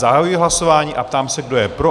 Zahajuji hlasování a ptám se, kdo je pro?